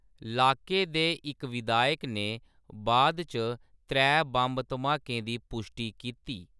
लाके दे इक विधायक ने बाद च त्रै बम्ब-धमाकें दी पुश्टी कीती।